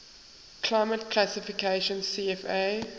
climate classification cfa